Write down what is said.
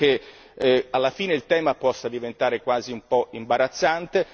Credo che alla fine il tema possa diventare quasi un po' imbarazzante.